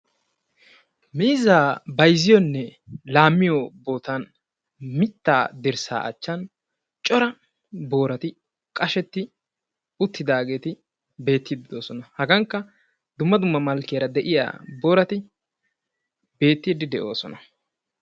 Miizzaa bayzziyonne laammiyo bootan mittaa dirssaa achchan cora boorati qashetti uttidaageeti beettiiddi doosona. Hagankka dumma dumma malkkiyara de'iya boorati beettiyddi de'oosona.